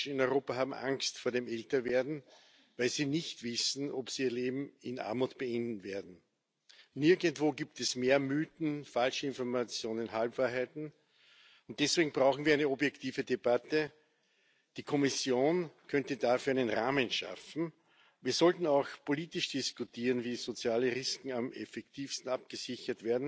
ist in Europa aber nicht hinreichend ausgeschöpft. Und nur in wenigen Mitgliedstaaten hat private Altersvorsorge eine nennenswerte Bedeutung mit bis zu fünfzehn Prozent der gesamten Alterssicherung. Und hier wollen wir ein Angebot machen keine